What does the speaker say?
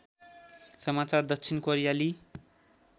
समाचार दक्षिण कोरियाली